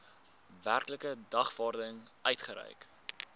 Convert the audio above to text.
werklike dagvaarding uitgereik